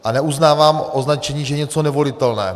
A neuznávám označení, že je něco nevolitelné.